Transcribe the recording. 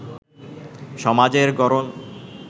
সমাজের গড়ন